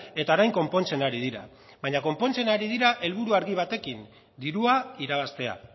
eta orain konpontzen ari dira baina konpontzen ari dira helburu argi batekin dirua irabaztea